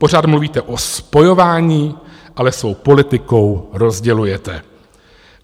Pořád mluvíte o spojování, ale svou politikou rozdělujete.